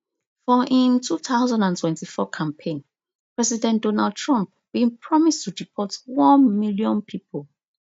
for im two thousand and twenty-four campaign president donald trump bin promise to deport one million pipo